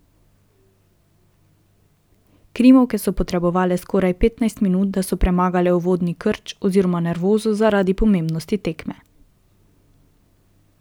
Krimovke so potrebovale skoraj petnajst minut, da so premagale uvodni krč oziroma nervozo zaradi pomembnosti tekme.